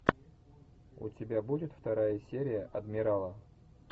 у тебя будет вторая серия адмирала